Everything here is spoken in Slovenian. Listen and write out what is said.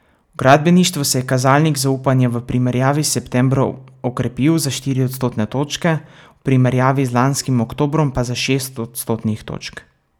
V gradbeništvu se je kazalnik zaupanja v primerjavi s septembrom okrepil za štiri odstotne točke, v primerjavi z lanskim oktobrom pa za šest odstotnih točk.